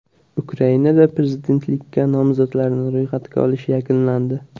Ukrainada prezidentlikka nomzodlarni ro‘yxatga olish yakunlandi.